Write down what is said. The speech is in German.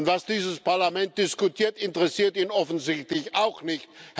Und was dieses Parlament diskutiert, interessiert ihn offensichtlich auch nicht.